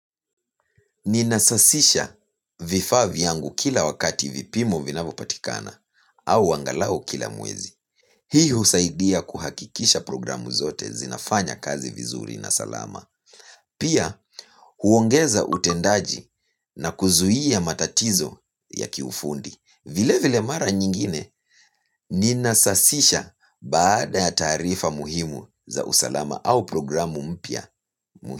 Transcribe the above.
Ninasafisha vifaa vyangu kila wakati vipimo vinapo patikana au angalau kila mwezi. Hii husaidia kuhakikisha programu zote zinafanya kazi vizuri na salama. Pia huongeza utendaji na kuzuia matatizo ya kiufundi. Vile vile mara nyingine ninasasisha baada ya taarifa muhimu za usalama au programu mpya muhimu.